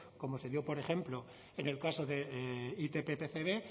como se dio por ejemplo en el caso de itp pcb